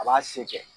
A b'a se kɛ